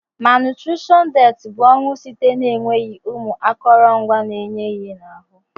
Malnutrition death bu onwụ site na enweghi ụmụ akọrọngwa na enye ihe na ahụ.